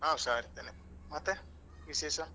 ಆ ಹುಷಾರಿದ್ದೇನೆ ಮತ್ತೆ ವಿಶೇಷ?